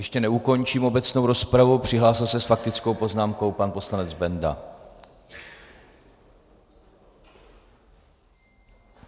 Ještě neukončím obecnou rozpravu, přihlásil se s faktickou poznámkou pan poslanec Benda.